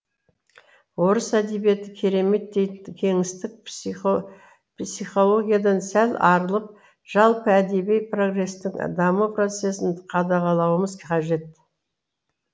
орыс әдебиеті керемет дейтін кеңестік психологиядан сәл арылып жалпы әдеби прогресстің даму процесін қадағалауымыз қажет